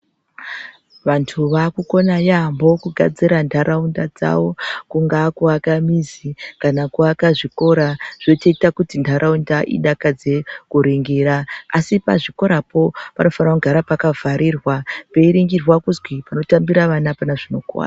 Vantu vakukona yambo ku gadzira ndaraunda dzavo kunga aku aka mizi kana kuaka zvikora zvotoita kuti ndaraunda idakadze kuningira asi pa zvikorapo panofana kugara paka garirwa pei ringirwa kuzwi pano tambira ana apana zvino kuwadza.